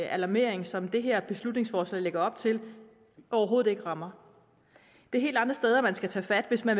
alarmering som det her beslutningsforslag lægger op til overhovedet ikke rammer det er helt andre steder man skal tage fat hvis man